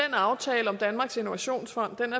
aftalen om danmarks innovationsfond